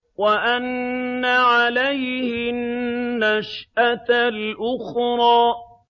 وَأَنَّ عَلَيْهِ النَّشْأَةَ الْأُخْرَىٰ